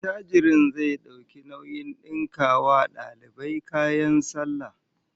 Attajirin zai dauki nauyin dinka wa almajirai kayan sallah